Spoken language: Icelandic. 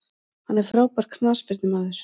Hann er frábær knattspyrnumaður.